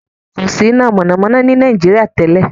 There was no electricity in Nigeria before.